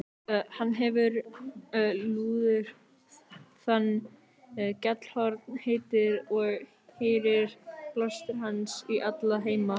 Hann hefir lúður þann er Gjallarhorn heitir, og heyrir blástur hans í alla heima.